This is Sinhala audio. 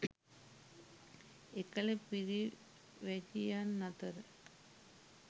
එකල පිරිවැජියන් අතර